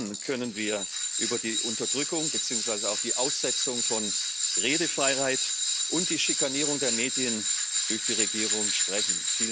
Und dann können wir über die Unterdrückung beziehungsweise auch die Aussetzung von Redefreiheit und die Schikanierung der Medien durch die Regierung sprechen.